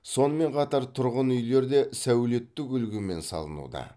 сонымен қатар тұрғынүйлер де сәулеттік үлгімен салынуда